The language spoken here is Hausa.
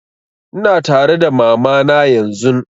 Ina tare da mama na yanzun